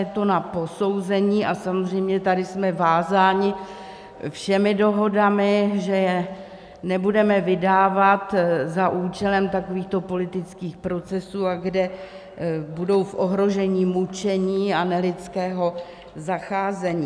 Je to na posouzení, a samozřejmě tady jsme vázáni všemi dohodami, že je nebudeme vydávat za účelem takovýchto politických procesů a kde budou v ohrožení mučení a nelidského zacházení.